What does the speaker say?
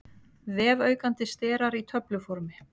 Vefaukandi sterar í töfluformi.